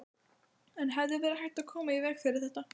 En hefði verið hægt að koma í veg fyrir þetta?